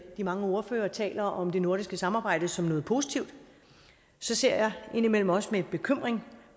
de mange ordførere taler om det nordiske samarbejde som noget positivt så ser jeg indimellem også med bekymring